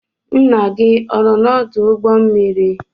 Nna gị ọ nọ n'ọdụ ụgbọ mmiri?